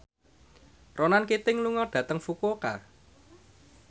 Ronan Keating lunga dhateng Fukuoka